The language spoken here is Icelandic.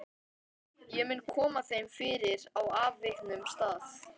Ég mun koma þeim fyrir á afviknum stað.